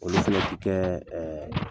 Olu fɛnɛ ti kɛ ɛ